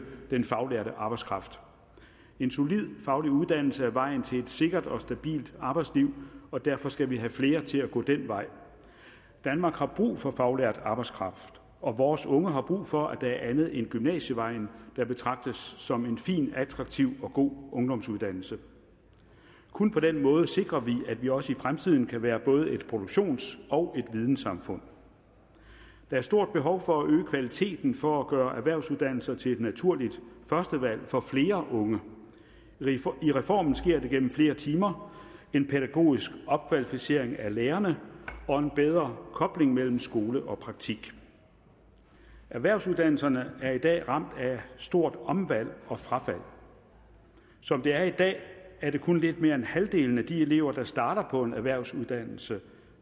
den faglærte arbejdskraft en solid faglig uddannelse er vejen til et sikkert og stabilt arbejdsliv og derfor skal vi have flere til at gå den vej danmark har brug for faglært arbejdskraft og vores unge har brug for at der er andet end gymnasievejen der betragtes som en fin attraktiv og god ungdomsuddannelse kun på den måde sikrer vi at vi også i fremtiden kan være både et produktions og et vidensamfund der er stort behov for at øge kvaliteten for at gøre erhvervsuddannelser til et naturligt førstevalg for flere unge i reformen sker det gennem flere timer en pædagogisk opkvalificering af lærerne og en bedre kobling mellem skole og praktik erhvervsuddannelserne er i dag er ramt af stort omvalg og frafald som det er i dag er det kun lidt mere end halvdelen af de elever der starter på en erhvervsuddannelse